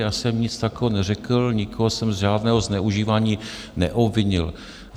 Já jsem nic takového neřekl, nikoho jsem z žádného zneužívání neobvinil.